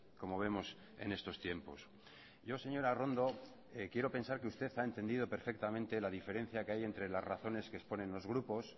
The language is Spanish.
como vemos en estos tiempos yo señora arrondo quiero pensar que usted ha entendido perfectamente la diferencia que hay entre las razones que exponen los grupos